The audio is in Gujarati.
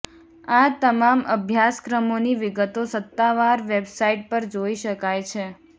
આ તમામ અભ્યાસક્રમોની વિગતો સત્તાવાર વેબસાઈટ પર જોઈ શકાય છે